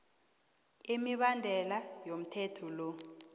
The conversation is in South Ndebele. imibandela yomthetho lo